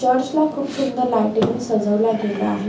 Church ला खूप सुंदर लायटिंग नी सजवला गेला आहे.